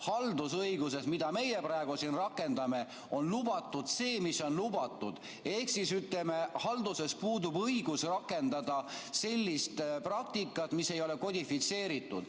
Haldusõiguses, mida meie praegu siin rakendame, on lubatud see, mis on lubatud, ehk halduses puudub õigus rakendada sellist praktikat, mis ei ole kodifitseeritud.